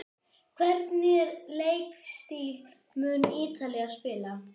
Hvernig leikstíl mun Ítalía spila?